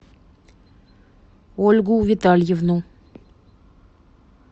ольгу витальевну